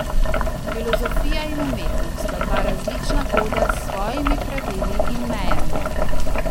Filozofija in umetnost sta dva različna koda s svojimi pravili in mejami.